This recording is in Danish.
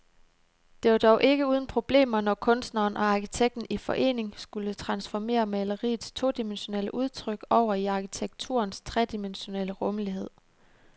Det var dog ikke uden problemer, når kunstneren og arkitekten i forening skulle transformere maleriets todimensionelle udtryk over i arkitekturens tredimensionelle rumlighed.